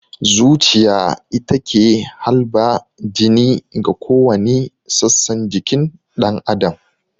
Zuciya ita ke halba jini ga kowani sassan jikin ɗan adam